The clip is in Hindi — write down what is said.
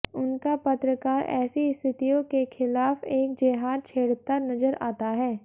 उनका पत्रकार ऐसी स्थितियों के खिलाफ एक जेहाद छेड़ता नजर आता है